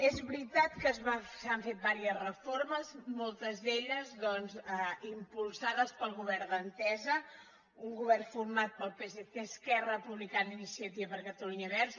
és veritat que se n’han fet diverses reformes moltes d’elles doncs impulsades pel govern d’entesa un govern format pel psc esquerra republicana i iniciativa per catalunya verds